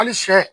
Hali sɛ